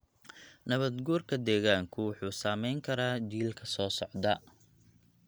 Nabaad-guurka deegaanku wuxuu saamayn karaa jiilka soo socda.